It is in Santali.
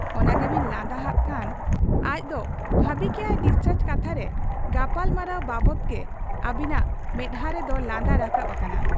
ᱚᱱᱟ ᱜᱮᱵᱤᱱ ᱞᱟᱸᱫᱟ ᱦᱟᱜ ᱠᱷᱟᱱ ᱟᱡᱫᱚᱭ ᱵᱷᱟᱹᱵᱤ ᱠᱮᱜ ᱟ ᱰᱤᱥᱪᱟᱨᱡᱽ ᱠᱟᱛᱷᱟ ᱨᱮ ᱜᱟᱯᱟᱞᱢᱟᱨᱟᱣ ᱵᱟᱵᱽᱫᱚᱜᱮ ᱟᱹᱵᱤᱱᱟᱜ ᱢᱮᱫᱦᱟᱸ ᱨᱮᱫᱚ ᱞᱟᱸᱫᱟ ᱨᱟᱠᱟᱵ ᱟᱠᱟᱱᱟ ᱾